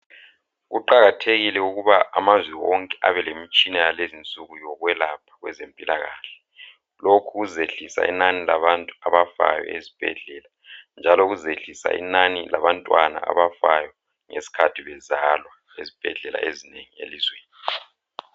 Kuqakathekile ukuba amazwe wonke abe lemitshina yalezinsuku yokwelapha kwezempilakahle. Lokhu kuzehlisa inani labantu abafayo ezibhedlela njalo kuzehlisa inani labantwana abafayo ngesikhathi bezalwa ezibhedlela ezinengi elizweni.